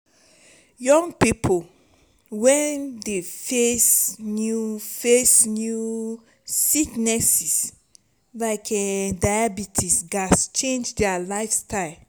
young pipo wey dey face new face new sicknesses like diabetes gats change dia lifestyle.